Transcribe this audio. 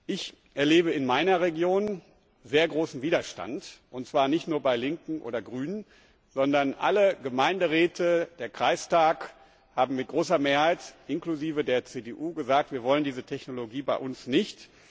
Ich erlebe in meiner Region sehr großen Widerstand, und zwar nicht nur bei Linken oder Grünen, sondern alle Gemeinderäte und der Kreistag haben mit großer Mehrheit inklusive der CDU gesagt Wir wollen diese Technologie bei uns nicht.